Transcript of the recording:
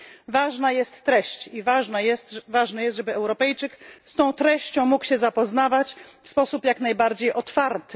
Ważna jest treść i ważne jest, żeby Europejczyk z tą treścią mógł się zapoznawać w sposób jak najbardziej otwarty.